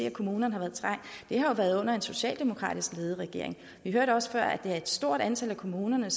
at kommunerne har været under en socialdemokratisk ledet regering vi hørte også før at det er et stort antal af kommunerne